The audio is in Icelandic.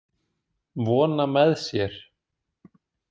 Vona með sér.